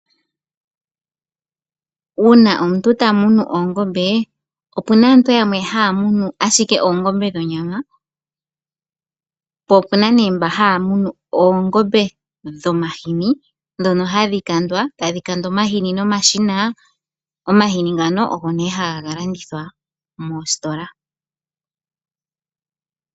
Uuna omuntu tamunu oongombe, opena aantu yamwe haa munu ashike oongombe dhonyama, po opena nee mba haa munu oongombe dhomahini, dhono hadhi kandwa, tadhi kandwa omahini nomashina, omahini ngano ogo nee haga ka landithwa moositola.